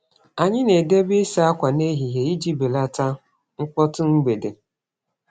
Anyị na-edebe ịsa ákwà n'ehihie iji belata mkpọtụ mgbede.